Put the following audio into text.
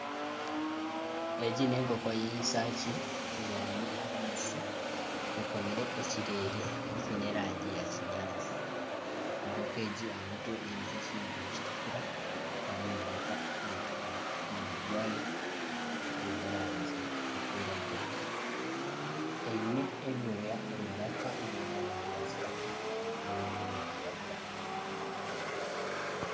Egi n'enkoko y'enshaaki ebyami ahansi ekomire ekireere ekiine erangi ya kinyatsi ekonko ekintu aha mutwe nikitukura nana omu maraka nikitukura ,omunwa gwaayo gwine erangi erikwiragura eine ebyooya omu maraka ebiine erangi ya kitaka ebindi niziragura.